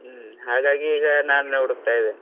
ಹ್ಮ್ ಹಾಗಾಗಿ ಈಗ ನಾನ್ ಹುಡುಕತ್ತಾ ಇದಿನಿ.